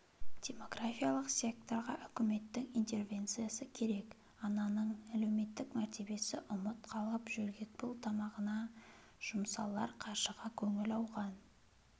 демографиялық секторға үкіметтің интервенциясы керек ананың әлеуметтік мәртебесі ұмыт қалып жөргекпұл тамағына жұмсалар қаржыға көңіл ауған